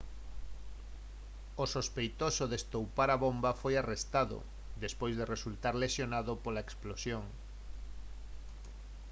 o sospeitoso de estoupar a bomba foi arrestado despois de resultar lesionado pola explosión